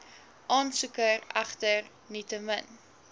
aansoeker egter nietemin